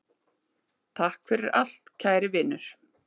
Takk fyrir allt, kæri vinur.